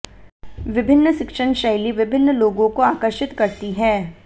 विभिन्न शिक्षण शैली विभिन्न लोगों को आकर्षित करती है